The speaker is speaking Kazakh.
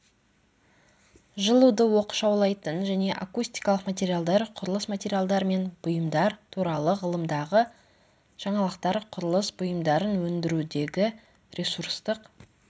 жылуды оқшаулайтын және акустикалық материалдар құрылыс материалдар мен бұйымдар туралы ғылымдағы жаңалықтар құрылыс бұйымдарын өндірудегі ресурстік